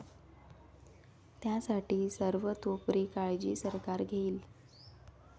त्यासाठी सर्वतोपरी काळजी सरकार घेईल.